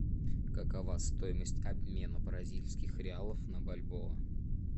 какова стоимость обмена бразильских реалов на бальбоа